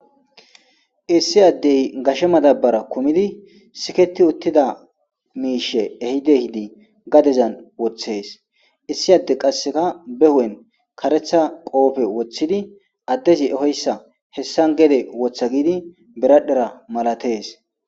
issi addey gashe madabara kumidi siketi uttida miishe ehidihidi gadezan woththes issi adde qasseka be hu7en karetha qoofe woththidi addezi ehoyssa hessan gede wotha giidi beradhera malatees